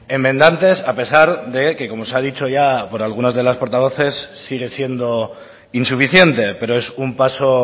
enmendantes a pesar de que como se ha dicho ya por algunas de las portavoces sigue siendo insuficiente pero es un paso